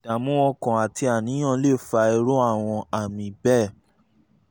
ìdààmú ọkàn àti àníyàn lè fa irú àwọn àmì bẹ́ẹ̀